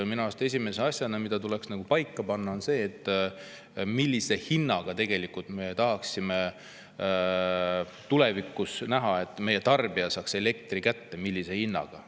Minu arust on esimene asi, mis tuleks paika panna, see, millise hinnaga peaks tulevikus saama meie tarbija elektri kätte – millise hinnaga!